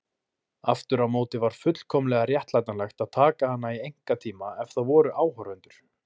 Aftur á móti var fullkomlega réttlætanlegt að taka hana í einkatíma ef það voru áhorfendur.